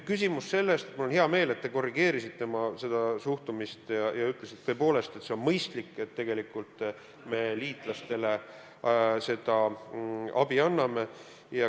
Mul on hea meel, et te korrigeerisite oma suhtumist ja ütlesite tõepoolest, et see on mõistlik, et me liitlastele seda abi anname.